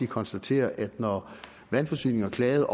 konstatere at når vandforsyningsselskaberne